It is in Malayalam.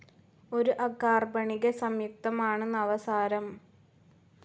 ഒരു അകാർബണിക സംയുക്തമാണ് നവസാരം.